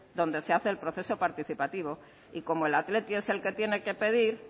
donde se hace el proceso participativo y como el athletic es el que tiene que pedir